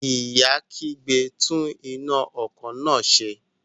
Ìyá kígbe, "tún iná ọkọ̀ náà ṣe".